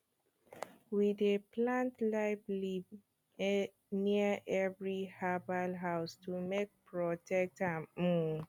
we dey plant life leaf near every herbal house to take protect am um